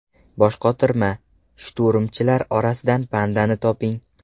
Boshqotirma: shturmchilar orasidan pandani toping.